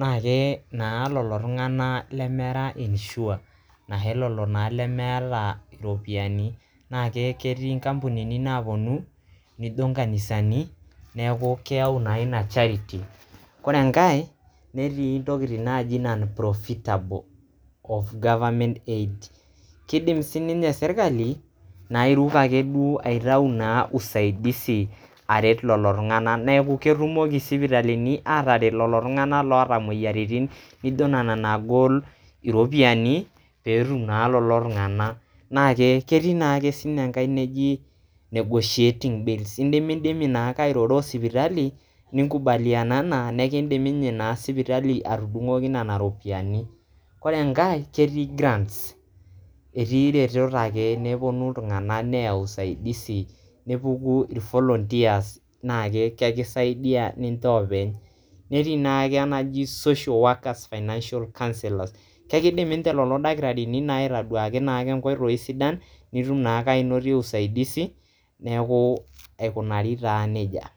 naake naa lelo tung'anak lemera insured anashe lelo tung'anak lemeeta naa iropiani, naake keti nkampunini naaponu nijo nkanisani neeku keyau naa ina charity. Kore enkae netii ntokitin naaji non-profitable of government aid, kidim sininye sirkali naa airuk akeduo aitau naa usaidizi aret lelo tung'anak , neeku ketumoki sipitalini ataret leo tung'anak laata nena moyiaritin nijo nena naagol iropiani peetum naa lelo tung'anak. Naake ketii naake sininye enkai naji negotiating bills, indimidimi naake airoro o sipitali, ninkubalianana nekindim sipitali naa ninye atudung'oki nena ropiani. Kore enkae ketii grants, etii retot ake nepuno iltung'anak ake neyau usaidizi nepuku irvolunteers naake kesidai ninje oopeny. Netii naake enkai naji social fiinancial counsellors, kekidim ninje lelo dakitarini aitaduaki naake nkoitoi sidan nitum naake ainotie usaidizi neeku aikunari taa neija.